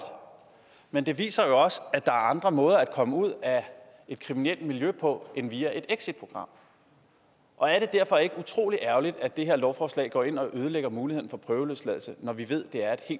men det viser jo også at andre måder at komme ud af et kriminelt miljø på end via et exitprogram og er det derfor ikke utrolig ærgerligt at det her lovforslag går ind og ødelægger muligheden for prøveløsladelse når vi ved